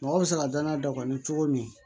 Mɔgɔ bɛ se ka danaya dɔ kɔni cogo min